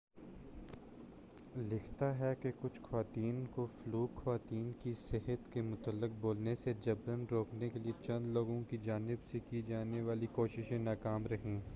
Flock fluke لکھتا ہے کہ کچھ خواتین کو خواتین کی صحت کے متعلق بولنے سے جبراً روکنے کے لیے چند لوگوں کی جانب سے کی جانے والی کوششیں ناکام رہیں۔